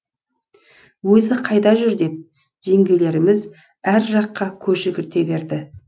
өзі қайда жүр деп жеңгелеріміз әр жаққа көз жүгірте берді